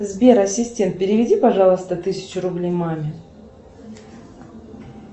сбер ассистент переведи пожалуйста тысячу рублей маме